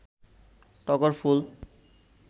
টগর ফুল